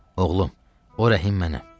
Oğlum, o Rəhim mənəm.